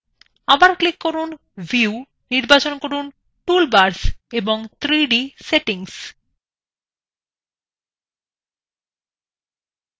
আবার click করুন view নির্বাচন করুন toolbars এবং 3dসেটিংস